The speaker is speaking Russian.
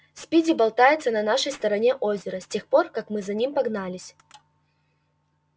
спиди болтается на нашей стороне озера с тех пор как мы за ним погнались